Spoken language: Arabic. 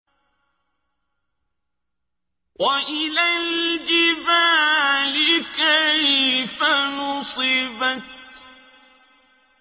وَإِلَى الْجِبَالِ كَيْفَ نُصِبَتْ